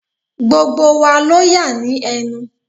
Gbogbo wa ló yà ní ẹnu.